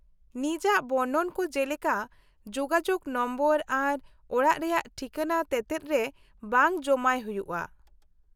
-ᱱᱤᱡᱟᱜ ᱵᱚᱨᱱᱚᱱ ᱠᱚ ᱡᱮᱞᱮᱠᱟ ᱡᱳᱜᱟᱡᱳᱜᱽ ᱱᱚᱢᱵᱚᱨ ᱟᱨ ᱚᱲᱟᱜ ᱨᱮᱭᱟᱜ ᱴᱷᱤᱠᱟᱹᱱᱟ ᱛᱮᱛᱮᱫ ᱨᱮ ᱵᱟᱝ ᱡᱚᱢᱟᱭ ᱦᱩᱭᱩᱜᱼᱟ ᱾